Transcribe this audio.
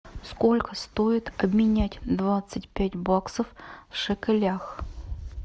сколько стоит обменять двадцать пять баксов в шекелях